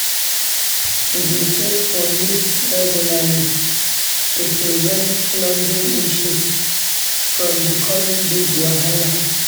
We dey check for leaks regularly to prevent plumbing issues from becoming big wahala.